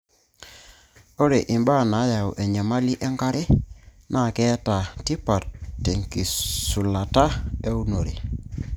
ore ibaa naayau enyamali enkare naa keeta tipat tenkitushulata eunore